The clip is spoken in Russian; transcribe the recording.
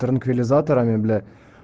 транквилизаторами бля